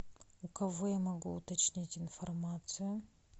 у кого я могу уточнить информацию